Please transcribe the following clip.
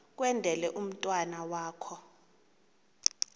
kwendele umntwana wakho